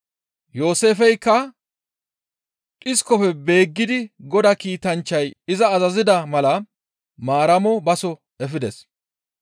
Yooseefeykka dhiskofe beeggidi Godaa kiitanchchay iza azazida mala Maaramo baso efides.